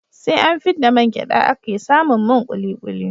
SE an fidda man gyada ake samin man kulikuli